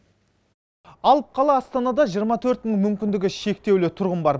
алып қала астанада жиырма төрт мың мүмкіндігі шектеулі тұрғын бар